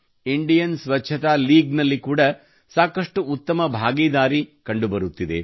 Indian Swachhata league ನಲ್ಲಿ ಕೂಡಾ ಸಾಕಷ್ಟು ಉತ್ತಮ ಭಾಗಿದಾರಿ ಕಂಡುಬರುತ್ತಿದೆ